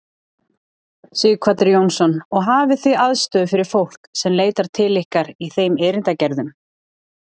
Sighvatur Jónsson: Og hafið þið aðstöðu fyrir fólk sem leitar til ykkar í þeim erindagerðum?